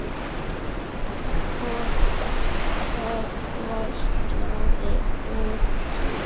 Og það vætlaði úr því.